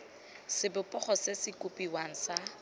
sebopego se se kopiwang sa